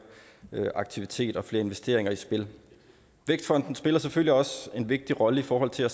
aktivitet og flere investeringer i spil vækstfonden spiller selvfølgelig også en vigtig rolle i forhold til at